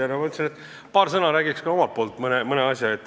Ma mõtlesin, et ütlen paar sõna ka omalt poolt.